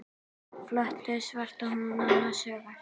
Flott, svarar hún annars hugar.